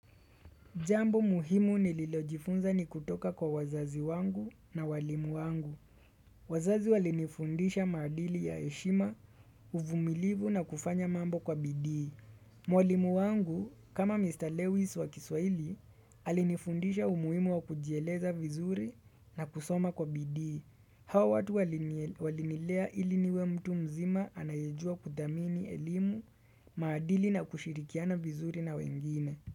Jambo muhimu nililojifunza ni kutoka kwa wazazi wangu na walimu wangu. Wazazi walinifundisha maadili ya heshima uvumilivu na kufanya mambo kwa bidiii. Mwalimu wangu, kama Mr. Lewis wa kiswahili, alinifundisha umuhimu wa kujieleza vizuri na kusoma kwa bidii Hawa watu walinilea ili niwe mtu mzima anayejua kudhamini elimu, maadili na kushirikiana vizuri na wengine.